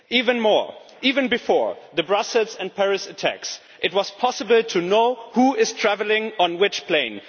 Even before the Brussels and Paris attacks it was possible to know who was travelling on which plane.